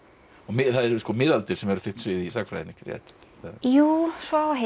það eru miðaldir sem er þitt svið í sagnfræðinni ekki rétt jú svo á að heita